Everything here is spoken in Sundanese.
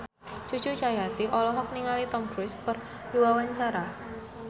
Cucu Cahyati olohok ningali Tom Cruise keur diwawancara